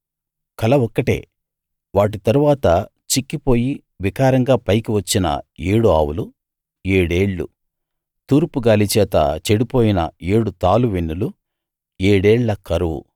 కల ఒక్కటే వాటి తరువాత చిక్కిపోయి వికారంగా పైకి వచ్చిన ఏడు ఆవులూ ఏడేళ్ళు తూర్పు గాలి చేత చెడిపోయిన ఏడు తాలువెన్నులు ఏడేళ్ళ కరువు